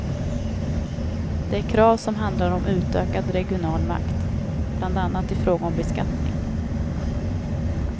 Det är krav som handlar om utökad regional makt, bland annat i fråga om beskattning.